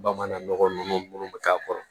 Bamanan nɔgɔ nunnu bɛ k'a kɔrɔ